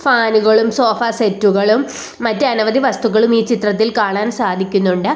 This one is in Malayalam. ഫാനുകളും സോഫ സെറ്റുകളും മറ്റ് അനവധി വസ്തുക്കളും ഈ ചിത്രത്തിൽ കാണാൻ സാധിക്കുന്നുണ്ട്.